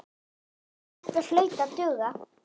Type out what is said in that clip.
Þetta hlaut að duga.